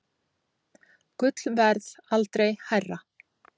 Gullverð aldrei hærra